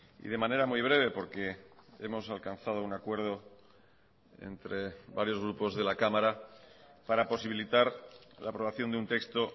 y de manera muy breve porque hemos alcanzado un acuerdo entre varios grupos de la cámara para posibilitar la aprobación de un texto